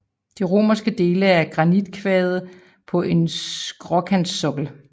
De romanske dele er af granitkvadre på en skråkantsokkel